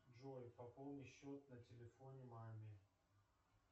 джой пополни счет на телефоне маме